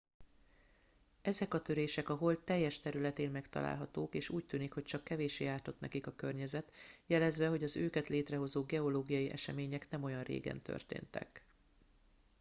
ezek a törések a hold teljes területén megtalálhatók és úgy tűnik hogy csak kevéssé ártott nekik a környezet jelezve hogy az őket létrehozó geológiai események nem olyan régen történtek